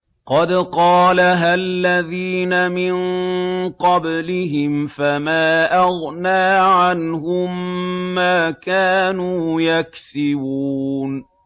قَدْ قَالَهَا الَّذِينَ مِن قَبْلِهِمْ فَمَا أَغْنَىٰ عَنْهُم مَّا كَانُوا يَكْسِبُونَ